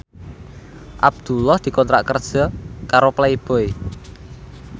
Abdullah dikontrak kerja karo Playboy